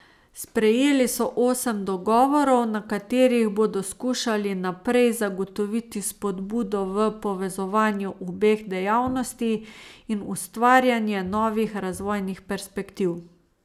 Sprejeli so osem dogovorov, na katerih bodo skušali naprej zagotoviti spodbudo v povezovanju obeh dejavnosti in ustvarjanje novih razvojnih perspektiv.